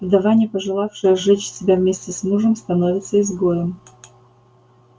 вдова не пожелавшая сжечь себя вместе с мужем становится изгоем